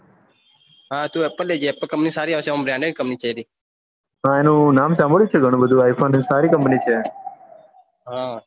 હા એપલ લે જે એપલ company સારી આવશે હા એનું નામ સમ્ભ્લ્યું છે ગણું બધું i phone સારી company છે